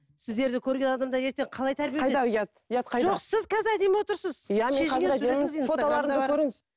сіздерді көрген адамдар ертең қалай тәрбие жоқ сіз қазір әдемі отырсыз